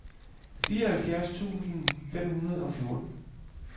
fireoghalvfjerds tusind fem hundrede og fjorten